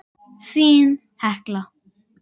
Þín, Hekla.